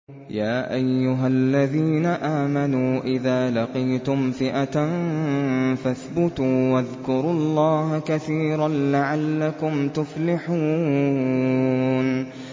يَا أَيُّهَا الَّذِينَ آمَنُوا إِذَا لَقِيتُمْ فِئَةً فَاثْبُتُوا وَاذْكُرُوا اللَّهَ كَثِيرًا لَّعَلَّكُمْ تُفْلِحُونَ